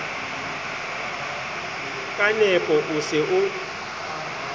ka nepo o se o